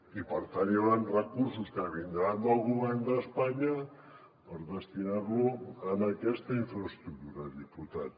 i per tant hi hauran recursos que vindran del govern d’espanya per destinar los a aquesta infraestructura diputat